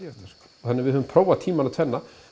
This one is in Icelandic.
þannig að við höfum prófað tímana tvenna en